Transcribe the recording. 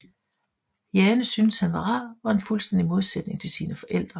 Jane syntes han var rar og en fuldstændig modsætning til sine forældre